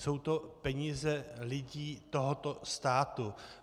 Jsou to peníze lidí tohoto státu.